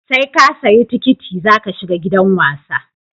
Seka siya tikiti zaka shiga gidan wasa